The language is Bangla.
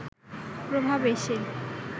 প্রভাব এসে